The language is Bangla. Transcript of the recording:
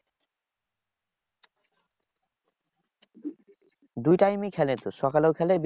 দুই time এই খেলে তো সকালেও খেলে